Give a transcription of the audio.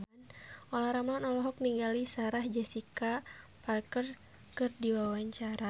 Olla Ramlan olohok ningali Sarah Jessica Parker keur diwawancara